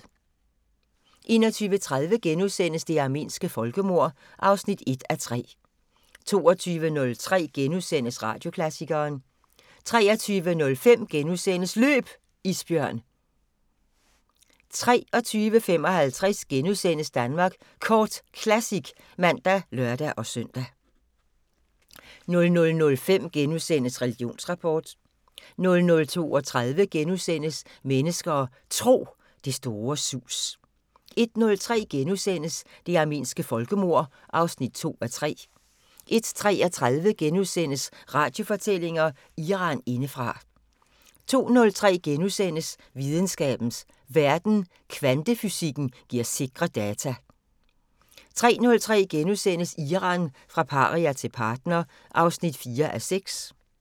21:30: Det armenske folkemord (1:3)* 22:03: Radioklassikeren * 23:05: Løb! Isbjørn * 23:55: Danmark Kort Classic *(man og lør-søn) 00:05: Religionsrapport * 00:32: Mennesker og Tro: Det store sus * 01:03: Det armenske folkemord (2:3)* 01:33: Radiofortællinger: Iran indefra * 02:03: Videnskabens Verden: Kvantefysikken giver sikre data * 03:03: Iran – fra paria til partner (4:6)*